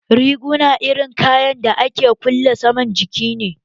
Riguna irin kayan dake kulle saman jiki ne